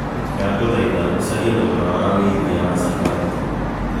ndagũthaĩtha ũcarĩe thogora wa wĩigĩthĩa wa safaricom